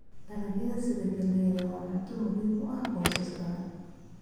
Dalagyada sida galleyda waa cunto muhiim ah qoysas badan.